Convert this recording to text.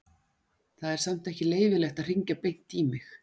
Það er samt ekki leyfilegt að hringja beint í mig.